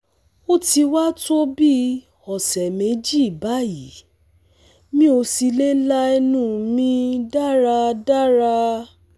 O ti wa to bi ọsẹ meji bayi mi o si le la ẹnu mi daradara